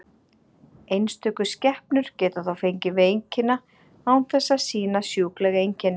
Einstöku skepnur geta þó fengið veikina án þess að sýna sjúkleg einkenni.